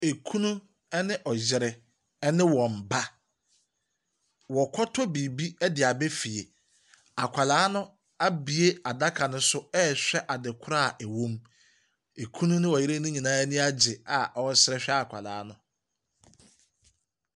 Ekunu, ɛne ɔyere ɛne wɔn ba. W'akɔtɔ biribi de aba fie. Akwadaa no ɛbue adaka no so ɛrehwɛ adekorɔ a ewɔ mu. Ɔkunu ne ɔyere no nyinaa aniagye a ɔsre hwɛ akwadaa no.